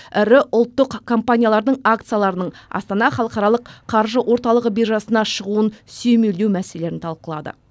іірі ұлттық компаниялардың акцияларының астана халықаралық қаржы орталығы биржасына шығуын сүйемелдеу мәселелерін талқылады